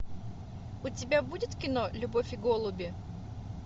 у тебя будет кино любовь и голуби